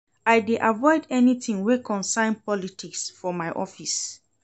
I dey avoid anytin wey concern politics for my office.